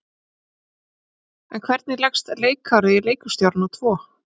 En hvernig leggst leikárið í leikhússtjórana tvo?